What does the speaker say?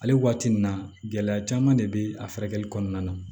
Hali waati min na gɛlɛya caman de bɛ a furakɛli kɔnɔna na